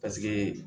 Paseke